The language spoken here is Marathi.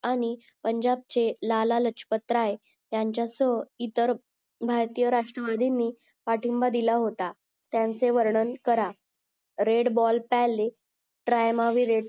आणि पुनजब चे लाला राजपत राय आण्याचा स इतर भारतीय राष्ट्रवादिनी पाठींबा दिला होता त्याचे वर्णन करा RED BALL PALE